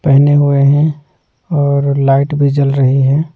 पहने हुए हैं और लाइट भी जल रही है।